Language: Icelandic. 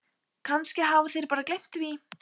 Kannski hafa þeir bara gleymt því.